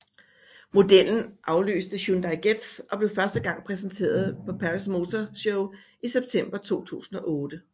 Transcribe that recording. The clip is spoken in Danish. Modellen afløste Hyundai Getz og blev første gang præsenteret på Paris Motor Show i september 2008